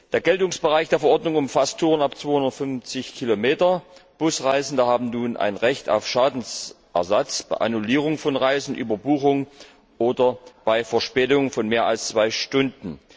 Der Geltungsbereich der Verordnung umfasst Touren ab 250 Kilometern, Busreisende haben nun ein Recht auf Schadensersatz bei Annullierung von Reisen, Überbuchung oder bei Verspätung von mehr als zwei Stunden.